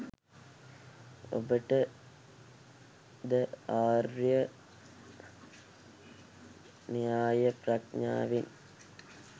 ඔබට ද ආර්ය න්‍යාය ප්‍රඥාවෙන්